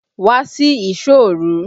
Wá sí ìsọ́ òru!